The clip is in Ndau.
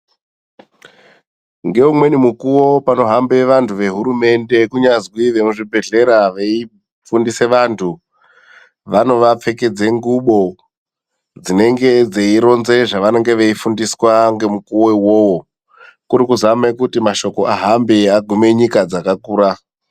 Nge umweni mukuwo pano hambe vantu ve hurumende kunyazwi ve muzvi bhedhlera vei fundise vantu vanova pfekedze ngubo dzinenge dzei ronze zva vanonge vei fundiswa nge mukuwo iwowo kuri kuzame kuti mashoko ahambe agume nyika dzaka kura.